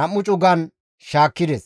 2 cugan cugan shaakkides.